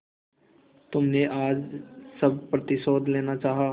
तुमने आज सब प्रतिशोध लेना चाहा